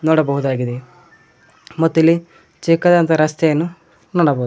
ನೋಡಬಹುದಾಗಿದೆ ಮತ್ತು ಇಲ್ಲಿ ಚಿಕ್ಕದಾದಂತ ರಸ್ತೆಯನ್ನು ನೋಡಬಹುದು.